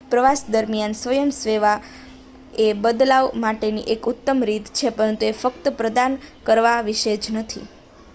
પ્રવાસ દરમ્યાન સ્વયંસેવા એ બદલાવ માટેની એક ઉતમ રીત છે પરંતુ એ ફક્ત પ્રદાન કરવા વિશે જ નથી